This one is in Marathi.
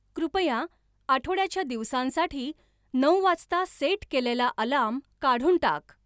कृपया आठवड्याच्या दिवसांसाठी नऊ वाजता सेट केलेला अलार्म काढून टाक